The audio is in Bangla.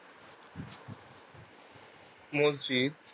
মজ্জিত